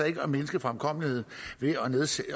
ikke mindske fremkommeligheden ved